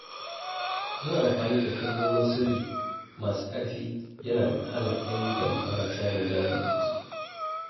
Yin amfani da kalmomin sirri masu ƙarfi yana hana ‘yan damfara samun damar kutse.